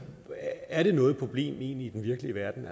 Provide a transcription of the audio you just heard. er noget problem i den egentlige verden